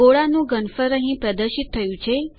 ગોળાનું ઘનફળ અહીં પ્રદર્શિત થયું છે